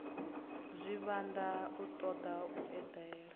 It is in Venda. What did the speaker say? zwivhanda u toda u edela